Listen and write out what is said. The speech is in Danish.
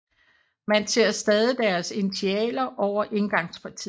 Man ser stadig deres initialer over indgangspartiet